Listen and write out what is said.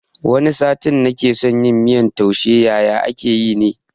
Wani satin nake son yin miyan taushe yaye ake yi ne?